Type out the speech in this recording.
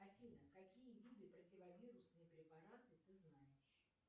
афина какие виды противовирусные препараты ты знаешь